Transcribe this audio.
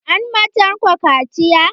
An ma Tanko kaciya?